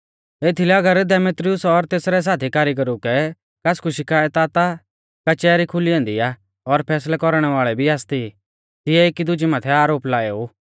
एथीलै अगर देमेत्रियुस और तेसरै साथी कारीगरु कै कासकु शिकायत आ ता कचैहरी खुली ऐन्दी आ और फैसलै कौरणै वाल़ै भी आसती तिऐ एकी दुजै माथै आरोप लाएऊ